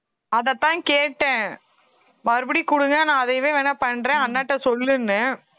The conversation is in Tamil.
அதைத்தான் கேட்டேன் மறுபடியும் கொடுங்க நான் அதையவே வேணா பண்றேன் அண்ணாட்ட சொல்லுன்னேன்